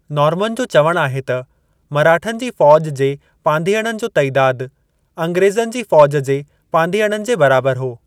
Norman जो चवणु आहे त मराठनि जी फ़ौज जे पांधीअड़नि जो तइदाद अंग्रेज़नि जी फ़ौज जे पांधीअड़नि जे बराबर हो।